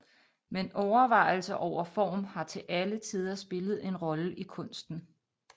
Men overvejelser over form har til alle tider spillet en rolle i kunsten